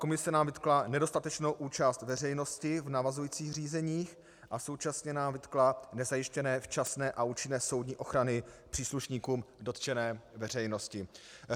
Komise nám vytkla nedostatečnou účast veřejnosti v navazujících řízeních a současně nám vytkla nezajištění včasné a účinné soudní ochrany příslušníkům dotčené veřejnosti.